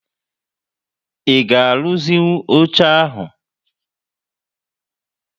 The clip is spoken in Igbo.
I ga aruzi nwụ óche ahu?